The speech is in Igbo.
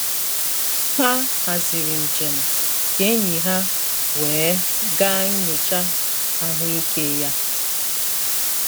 Ha haziri njem ka enyi ha wee gaa nnyocha ahụike ya.